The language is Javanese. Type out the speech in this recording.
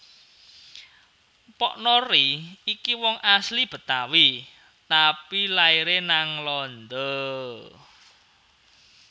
Mpok Nori iki wong asli Betawi tapi laire nang Landa